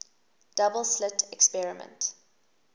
double slit experiment